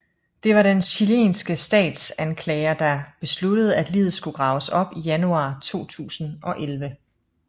Det var den chilenske statsanklager der besluttede at liget skulle graves op i januar 2011